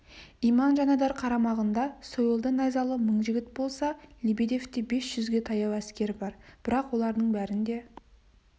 иман жанайдар қарамағында сойылды-найзалы мың жігіт болса лебедевте бес жүзге таяу әскер бар бірақ олардың бәрінде